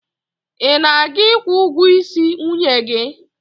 Ị na-aga ikwu ụgwọisi nwunye gị?